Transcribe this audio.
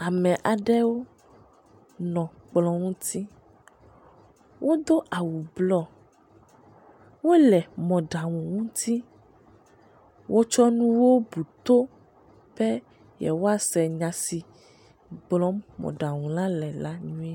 Ame aɖe nɔ kplɔ̃ ŋuti, wodo awu nɔ blɔ, wole mɔ ɖaŋu ŋuti, wotsɔ nuwo buto, be yewoa se nyasi gblɔm mɔ ɖaŋu la le nyuie.